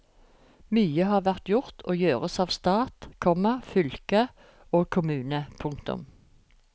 Mye har vært gjort og gjøres av stat, komma fylke og kommune. punktum